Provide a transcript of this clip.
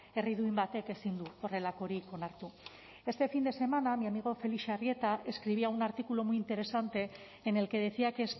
herri duin batek ezin du horrelakorik onartu este fin de semana mi amigo felix arrieta escribía un artículo muy interesante en el que decía que